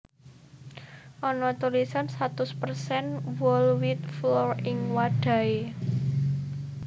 Ana tulisan satus persen whole wheat flour ing wadhahé